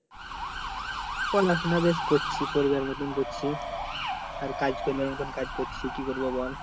পড়া শোন বেশ করছি পড়ি বার মত পড়ছি আর কাজ করিবার মত কাজ করছি কি করবো বল